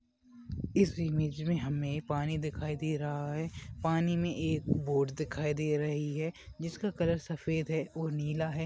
इस इमेज मे हमे पानी दिखाई दे रहा है पानी मे एक बोट दिखाई दे रही है जिसका कलर सफेद है और नीला है।